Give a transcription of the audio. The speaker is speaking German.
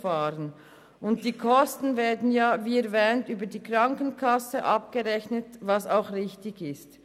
Die Kosten werden wie erwähnt über die Krankenkassen abgerechnet, was wir als richtig empfinden.